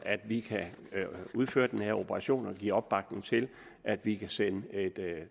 at vi kan udføre den her operation og giver opbakning til at vi kan sende et